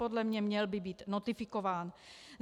Podle mě, měl by být notifikován.